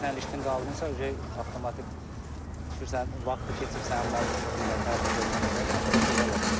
Sən ilişdin qaldınsa, avtomatik düşürsən, vaxtı keçir sənin, malı boşaldana qədər, tərəfi verənə qədər, yəni belə şeylər baş verir.